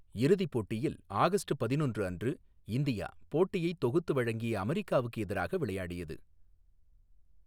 இறுதிப் போட்டியில், ஆகஸ்ட் பதினொன்று அன்று, இந்தியா, போட்டியைத் தொகுத்து வழங்கிய அமெரிக்காவுக்கு எதிராக விளையாடியது.